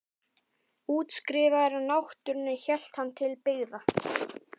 Útskrifaður af náttúrunni hélt hann til byggða.